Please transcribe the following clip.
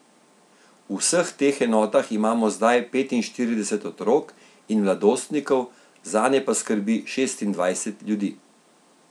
V vseh teh enotah imamo zdaj petinštirideset otrok in mladostnikov, zanje pa skrbi šestindvajset ljudi.